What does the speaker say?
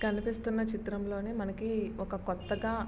కనిపిస్తున్న చిత్రంలోని మనకి ఒక కొత్తగా --